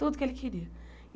Tudo que ele queria.